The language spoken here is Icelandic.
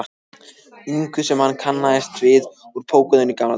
ingu sem hann kannaðist við úr pókernum í gamla daga.